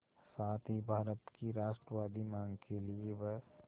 साथ ही भारत की राष्ट्रवादी मांग के लिए ब्